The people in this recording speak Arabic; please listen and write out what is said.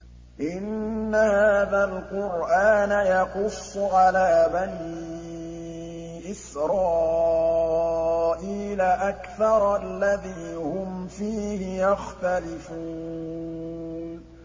إِنَّ هَٰذَا الْقُرْآنَ يَقُصُّ عَلَىٰ بَنِي إِسْرَائِيلَ أَكْثَرَ الَّذِي هُمْ فِيهِ يَخْتَلِفُونَ